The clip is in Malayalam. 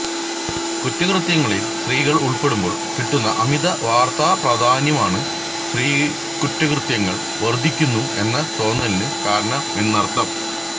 കുറ്റകൃത്യങ്ങളിൽ സ്ത്രീകൾ ഉൾപ്പെടുമ്പോൾ കിട്ടുന്ന അമിത വാർത്താ പ്രാധാന്യമാണ് സ്ത്രീ കുറ്റകൃത്യങ്ങൾ വർദ്ധിക്കുന്നു എന്ന തോന്നലിനു കാരണമെന്നർത്ഥം